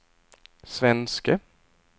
svenske